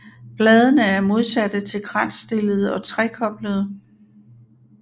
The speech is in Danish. Bladene er modsatte til kransstillede og trekoblede